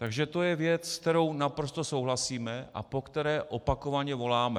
Takže to je věc, se kterou naprosto souhlasíme a po které opakovaně voláme.